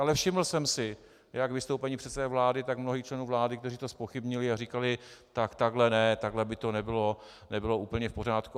Ale všiml jsem si jak vystoupení předsedy vlády, tak mnohých členů vlády, kteří to zpochybnili a říkali: Tak takhle ne, takhle by to nebylo úplně v pořádku.